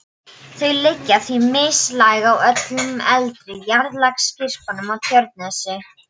Þau liggja því mislæg á öllum eldri jarðlagasyrpum á Tjörnesi.